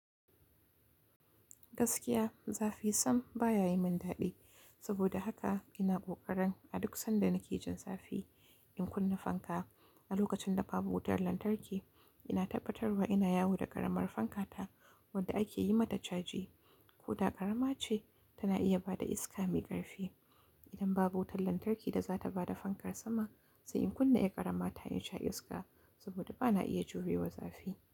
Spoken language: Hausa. Gaskiya, zafi sam baya yi min daɗi. Saboda haka ina ƙoƙarin a duk sanda nake jin zafi in kunna fanka. A lokacin da babu wutar lantarki, ina tabbatarwa ina yawo da ƙaramar fankata wadda ake yi mata caji. Koda ƙarama ce tana iya ba da iska mai ƙarfi. Idan babu wutar lantarki da za ta ba da fankar sama, sai in kunna yar ƙarama ta in sha iska saboda ba na iya jurewa zafi.